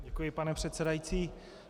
Děkuji, pane předsedající.